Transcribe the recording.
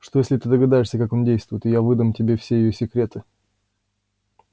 что если ты догадаешься как он действует и я выдам тебе все её секреты